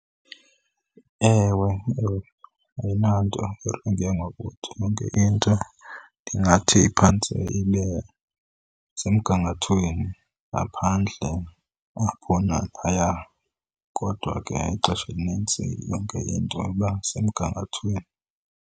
Ewe, ayinanto ngokuthi yonke into ndingathi iphantse ibe semgangathweni, ngaphandle apho naphaya. Kodwa ke ixesha elinintsi yonke into iba semgangathweni.